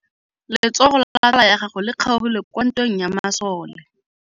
Letsôgô la tsala ya gagwe le kgaogile kwa ntweng ya masole.